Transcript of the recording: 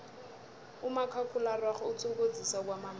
umakhakhulararhwe uthokozisa kwamambala